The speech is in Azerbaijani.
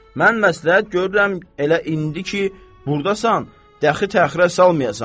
Mən məsləhət görürəm elə indi ki burdasan, dəxi təxirə salmayasan.